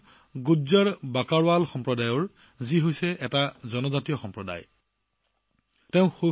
তেওঁ গুজ্জাৰৰ বাকৰৱাল সম্প্ৰদায়ৰ যিটো এটা জনজাতীয় গোট